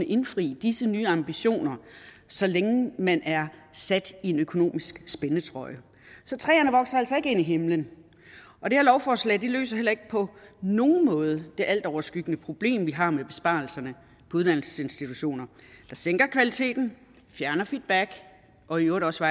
indfri disse nye ambitioner så længe man er sat i en økonomisk spændetrøje så træerne vokser altså ikke ind i himlen og det her lovforslag løser heller ikke på nogen måde det altoverskyggende problem vi har med besparelserne på uddannelsesinstitutioner der sænker kvaliteten fjerner feedback og i øvrigt også